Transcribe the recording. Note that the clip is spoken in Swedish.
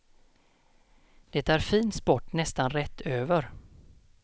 Det är fin sport nästan rätt över.